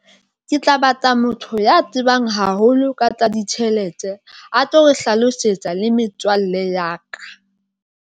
Ke tla batla motho ya tsebang haholo ka tsa ditjhelete, a tlo re hlalosetsa le metswalle ya ka.